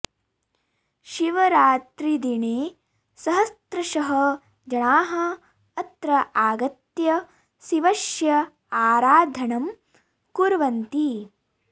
शिवरात्रिदिने सहस्रशः जनाः अत्र आगत्य शिवस्य आराधनं कुर्वन्ति